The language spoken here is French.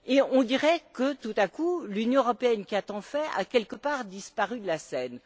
On dirait que, tout à coup, l'Union européenne, qui a tant fait, a, quelque part, disparu de la scène.